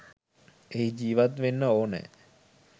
එහි ජීවත් වෙන්න ඕනෑ.